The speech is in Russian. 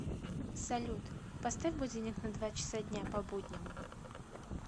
салют поставь будильник на два часа дня по будням